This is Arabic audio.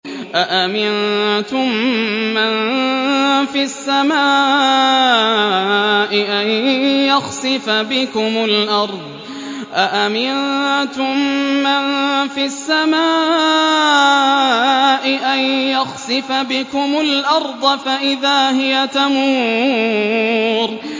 أَأَمِنتُم مَّن فِي السَّمَاءِ أَن يَخْسِفَ بِكُمُ الْأَرْضَ فَإِذَا هِيَ تَمُورُ